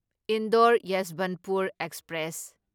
Indore Yeshwantpur express